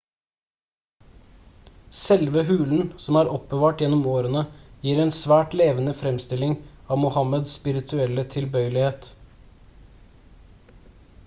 selve hulen som er oppbevart gjennom årene gir en svært levende framstilling av muhammads spirituelle tilbøyelighet